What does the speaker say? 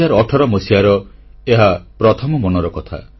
2018 ମସିହାର ଏହା ପ୍ରଥମ ମନର କଥା